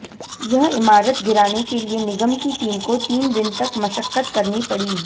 यह इमारत गिराने के लिए निगम की टीम को तीन दिन तक मशक्कत करनी पड़ी